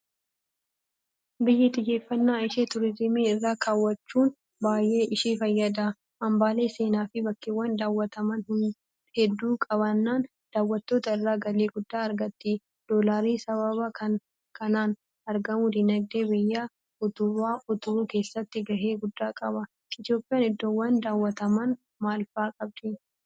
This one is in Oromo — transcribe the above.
Biyyi xiyyeeffannaa ishee turiizimii irra keewwachuun baay'ee ishee fayyada. Hambaalee seenaafi bakkeewwan daawwataman hedduu qabaannaan daawwattoota irraa galii guddaa argatti. Doolaarri sababa kanaan argamu diinagdee biyyaa utubuu keessatti gahee guddaa qaba. Itoophiyaan iddoowwan daawwataman maal fa'aa qabdi?